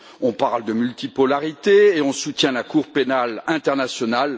On parle de multipolarité, et on soutient la Cour pénale internationale.